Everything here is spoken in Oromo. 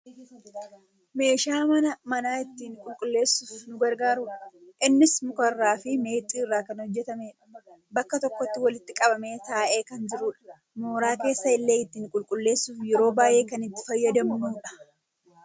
meeshaa mana ittiin qulqulleessuuf nu gargaarudha. innis muka irraa fi meexxii irraa kan hojjatamedha. bakka tokkotti walitti qabamee taa'ee kan jirudha. mooraa keessa illee ittiin qulqulleessuuf yeroo baayyee kan itti fayyadamnudha.